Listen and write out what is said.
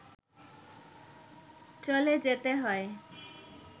চলে যেতে হয়